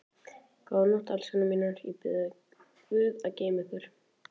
Góða nótt, elskurnar mínar, ég bið guð að geyma ykkur.